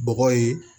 Bɔgɔ ye